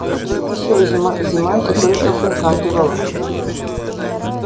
а настоящая зима зима ещё только подкатывала